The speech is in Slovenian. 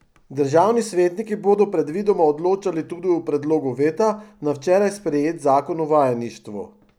Državni svetniki bodo predvidoma odločali tudi o predlogu veta na včeraj sprejet zakon o vajeništvu.